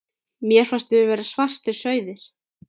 Mér fannst við vera svartir sauðir.